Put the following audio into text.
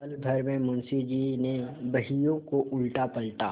पलभर में मुंशी जी ने बहियों को उलटापलटा